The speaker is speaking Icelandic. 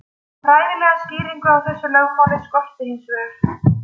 Fræðilega skýringu á þessu lögmáli skorti hins vegar.